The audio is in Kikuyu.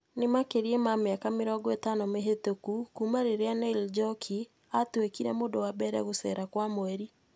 Nĩ Makĩria ma mĩaka mĩrongo ĩitano mĩhĩtũku kuuma rĩrĩa Neil Njoki aatuĩkire mũndũ wa mbere kũrũcera kwa mweri.